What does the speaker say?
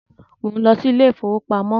Mò ń lọ sí ilé ìfowópamọ́